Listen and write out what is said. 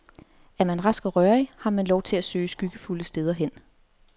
Er man rask og rørig, har man lov til at søge skyggefulde steder hen.